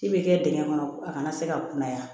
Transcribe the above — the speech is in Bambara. K'i bɛ kɛ dingɛn kɔnɔ a kana se ka kunnaya